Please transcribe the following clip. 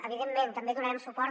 evidentment també hi donarem suport